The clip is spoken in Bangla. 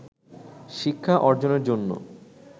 শিক্ষা অর্জনের জন্য